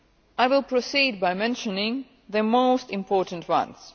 I will proceed by mentioning the most important ones.